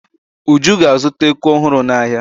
Uju ga-azụta eku ọhụrụ n'ahịa.